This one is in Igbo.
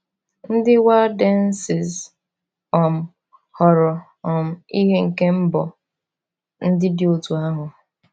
Ndị Waldenses um ghọrọ um ihe nke mbọ ndị dị otú ahụ.